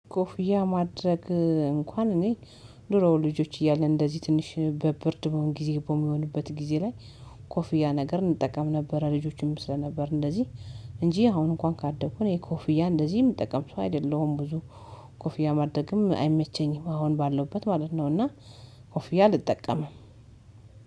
ኮፍያ ማድረግ እንኳን እኔ ዱሮ ልጆች እያለን እንደዚህ ትንሽ በብርድ በሆን ጊዜ በሚሆንበት ጊዜ ላይ ኮፍያ ነገር እንጠቀም ነበረ። ልጆችም ስለነበርን እንደዚህ እንጂ አሁን እንኳን ካደኩኝ የኮፍያ እንደዚህም አይደለሁም። ብዙ ኮፍያ ማድረግም አይመቸኝም አሁን ባለውበት ማለት ነው። እና ኮፍያ አልጠቀምም።